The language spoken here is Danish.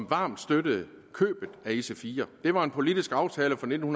varmt støttede købet af ic4 det var en politisk aftale fra nitten